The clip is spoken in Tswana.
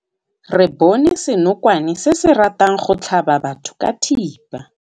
Re bone senokwane se se ratang go tlhaba batho ka thipa.